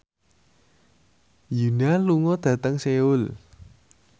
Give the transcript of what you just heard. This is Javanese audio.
Yoona lunga dhateng Seoul